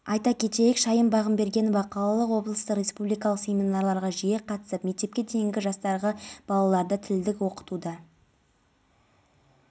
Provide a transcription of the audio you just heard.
өткен тәуліктерде ауа-райының ыстық кей жерлерінде максималды градус температурасы қазақстанның оңтүстік оңтүстік-шығыс және шығыс облыстарында байқалады